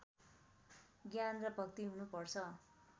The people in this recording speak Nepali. ज्ञान र भक्ति हुनुपर्छ